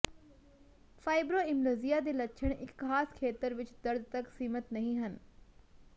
fibromyalgia ਦੇ ਲੱਛਣ ਇੱਕ ਖਾਸ ਖੇਤਰ ਵਿੱਚ ਦਰਦ ਤੱਕ ਸੀਮਿਤ ਨਹੀਂ ਹਨ